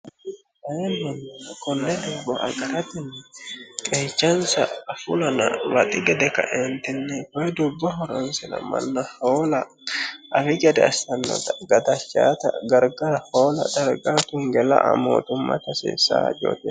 aemanni konne dubbo agaratinni qeechansa afulana waxi gede kaeentinnyi ky dubbo horansina manna hoola afi gede assannota gadachaata gargara hoola dhargaa tungela a mootumma ta haseessa jooteo